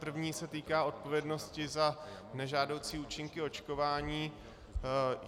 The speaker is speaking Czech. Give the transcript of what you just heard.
První se týká odpovědnosti za nežádoucí účinky očkování.